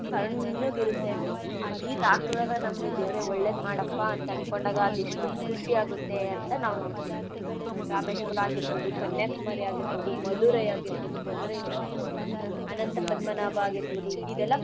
ತಣ್ಣುಗ್ ಇರತ್ತೆ. ಆ ನೀರ್ ಆಕ್ದಾಗ ನಮ್ಗೆ ದೇವ್ರೇ ಒಳ್ಳೇದ್ ಮಾಡಪ್ಪಾ ಅಂತನ್ಕೊಂಡಾಗ ಅದ್ ಎಷ್ಟು ಖುಷಿ ಆಗುತ್ತೆ ಅಂತ ನಾವ್ ನೋಡ್ತೀವಿ. ರಾಮೇಶ್ವರ ಆಗಿರ್ಬೌದು ಕನ್ಯಾಕುಮಾರಿ ಆಗಿರ್ಬೌದು ಮದುರೈ ಆಗಿರ್ಬೌದು ಮದುರೈ ಮೀನಾಕ್ಷಿ ಅನಂತ ಪದ್ಮನಾಭ ಆಗಿರ್ಬೌದು ಇದೆಲ್ಲ.